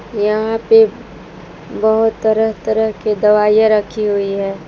यहां पे बहुत तरह तरह के दवाइयां रखी हुई हैं।